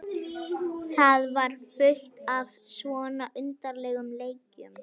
Það var fullt af svona undarlegum leikjum.